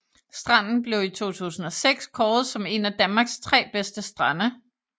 Stranden blev i 2006 kåret som en af Danmarks 3 bedste strande